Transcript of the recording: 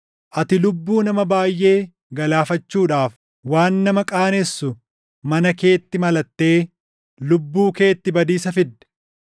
Ati lubbuu nama baayʼee galaafachuudhaaf, waan nama qaanessu mana keetti malattee // lubbuu keetti badiisa fidde.